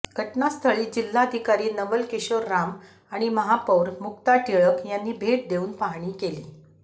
घटनास्थळी जिल्हाधिकारी नवल किशोर राम आणि महापौर मुक्ता टिळक यांनी भेट देऊन पाहणी केली